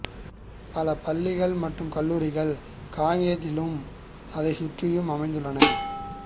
பல பள்ளிகள் மற்றும் கல்லூரிகள் காங்கேயத்திலும் அதைச் சுற்றியும் அமைந்துள்ளன